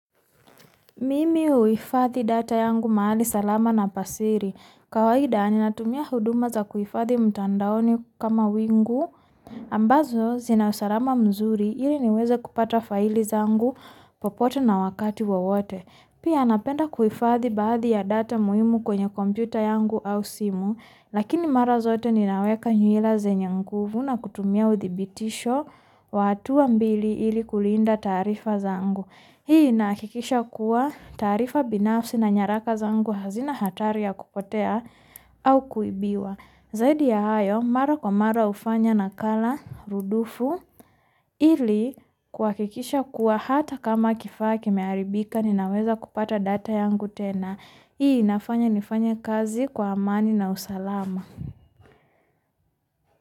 Mimi huhifadhi data yangu mahali salama na pa siri kawaida natumia huduma za kuhifadhi mtandaoni kama wingu ambazo zina usalama mzuri ili niweza kupata faili zangu popoto na wakati wawote pia napenda kuhifadhi baadhi ya data muhimu kwenya komputer yangu au simu lakini mara zote ninaweka nywila zenye nguvu na kutumia uthibitisho wa hatua mbili ili kulinda taarifa zangu hii inahakikisha kuwa taarifa binafsi na nyaraka zangu hazina hatari ya kupotea au kuibiwa zaidi ya hayo mara kwa mara hufanya nakala rudufu ili kuhakikisha kuwa hata kama kifaa kimeharibika ninaweza kupata data yangu tena hii inafanya nifanya kazi kwa amani na usalama.